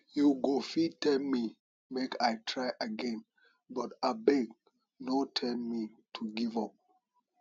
you go fit tell me make i try again but abeg no tell me to give up